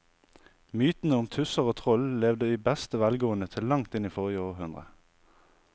Mytene om tusser og troll levde i beste velgående til langt inn i forrige århundre.